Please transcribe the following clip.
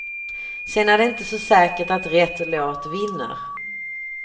Sen är det inte så säkert att rätt låt vinner.